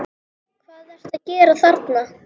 HVAÐ ERTU AÐ GERA ÞARNA!